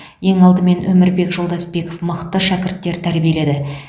ең алдымен өмірбек жолдасбеков мықты шәкірттер тәрбиеледі